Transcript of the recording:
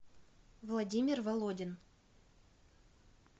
владимир володин